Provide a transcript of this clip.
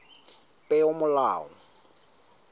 peomolao